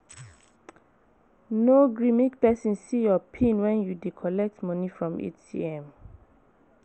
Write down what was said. No gree make pesin see your pin wen you dey collect money from ATM.